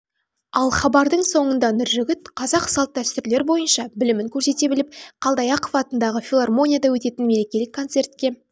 ал хабардың соңында нұржігіт қазақ салт-дәстүрлер бойынша білімін көрсете біліп қалдаяқов атындағы филармонияда өтетін мерекелік концертке